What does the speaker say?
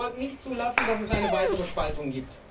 Wir sollten nicht zulassen, dass es eine weitere Spaltung gibt.